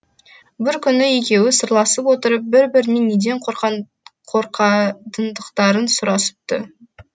бір күні екеуі сырласып отырып бір бірінен неден қорқатындықтарын сұрасыпты